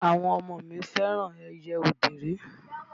Àwọn ọmọ mi fẹ́ràn ẹyẹ òdèré.